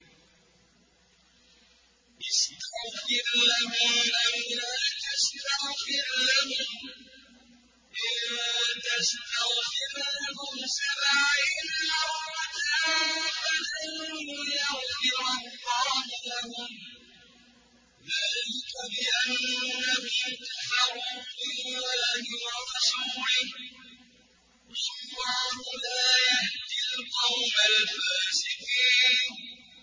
اسْتَغْفِرْ لَهُمْ أَوْ لَا تَسْتَغْفِرْ لَهُمْ إِن تَسْتَغْفِرْ لَهُمْ سَبْعِينَ مَرَّةً فَلَن يَغْفِرَ اللَّهُ لَهُمْ ۚ ذَٰلِكَ بِأَنَّهُمْ كَفَرُوا بِاللَّهِ وَرَسُولِهِ ۗ وَاللَّهُ لَا يَهْدِي الْقَوْمَ الْفَاسِقِينَ